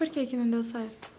Por que que não deu certo?